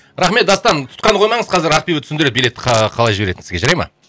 рахмет дастан тұтқаны қоймаңыз қазір ақбибі түсіндіреді билетті қалай жіберетінін сізге жарай ма